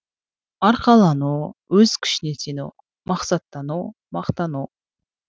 арқалану өз күшіне сену мақсаттану мақтану